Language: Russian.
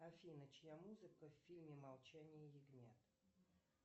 афина чья музыка в фильме молчание ягнят